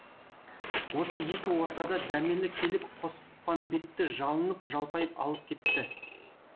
осы екі ортада дәмелі келіп қоспанбетті жалынып жалпайып алып кетті